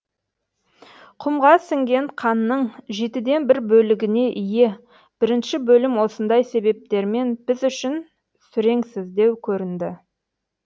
құмға сіңген қанның жетіден бір бөлігіне ие бірінші бөлім осындай себептермен біз үшін сүреңсіздеу көрінді